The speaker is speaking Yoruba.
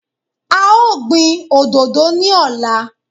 A ó gbin òdodo ní ọ̀la.